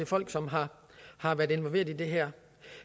folk som har har været involveret i det her